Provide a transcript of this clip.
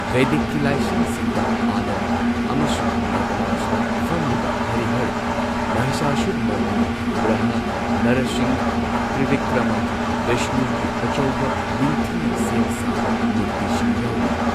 ꯚꯦꯗꯤꯛꯀꯤ ꯂꯥꯏꯁꯪꯁꯤꯡꯗ ꯑꯅꯟꯊ ꯑꯃꯁꯨꯡ ꯅꯇꯔꯥꯖꯗ ꯐꯝꯂꯤꯕ ꯍꯔꯤꯍꯔ, ꯃꯍꯤꯁꯥꯁꯨꯔꯃꯔꯙꯤꯅꯤ, ꯕꯔꯥꯍ, ꯅꯔꯁꯤꯡꯍ, ꯇ꯭ꯔꯤꯕꯤꯀ꯭ꯔꯃ, ꯚꯤꯁꯅꯨꯒꯤ ꯑꯆꯧꯕ ꯅꯤꯡꯊꯤꯅ ꯁꯦꯝ ꯁꯥꯕ ꯃꯨꯔꯇꯤꯁꯤꯡ ꯌꯥꯎꯔꯤ꯫